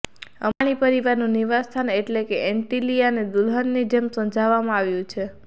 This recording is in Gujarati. અંબાણી પરિવારનું નિવાસસ્થાન એટલે કે એન્ટીલિયાને દુલ્હનની જેમ સજાવવામાં આવ્યું છે